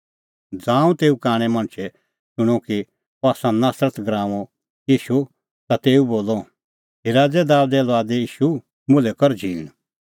ज़ांऊं तेऊ कांणै मणछै शूणअ कि अह आसा नासरत नगरीओ ईशू ता तेऊ बोलअ हे राज़ै दाबेदे लुआद ईशू मुल्है कर झींण